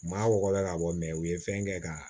Maa wɔɔrɔ bɛ ka bɔ mɛ u ye fɛn kɛ ka